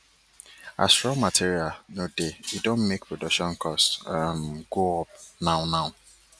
as raw materials no dey e don make production cost um go up now now